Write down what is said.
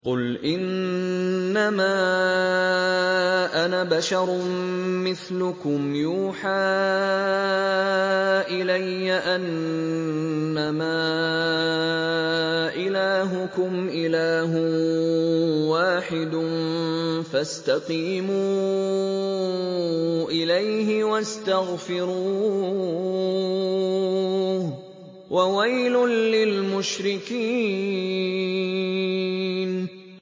قُلْ إِنَّمَا أَنَا بَشَرٌ مِّثْلُكُمْ يُوحَىٰ إِلَيَّ أَنَّمَا إِلَٰهُكُمْ إِلَٰهٌ وَاحِدٌ فَاسْتَقِيمُوا إِلَيْهِ وَاسْتَغْفِرُوهُ ۗ وَوَيْلٌ لِّلْمُشْرِكِينَ